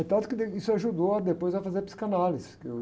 Tanto que, isso ajudou depois a fazer a psicanálise. Que eu...